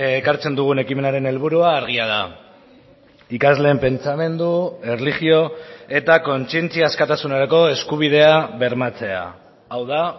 ekartzen dugun ekimenaren helburua argia da ikasleen pentsamendu erlijio eta kontzientzia askatasunerako eskubidea bermatzea hau da